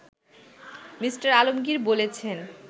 Me. Alamgir বলছেন